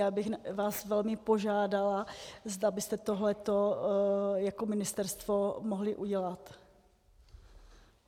Já bych vás velmi požádala, zda byste tohle jako ministerstvo mohli udělat.